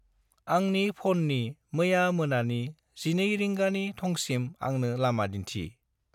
आंनि फननि मैया मोनानि 12 रिंगानि थंसिम आंनो लामा दिन्थि।